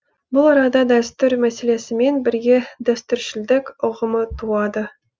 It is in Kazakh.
бұл арада дәстүр мәселесімен бірге дәстүршілдік ұғымы туады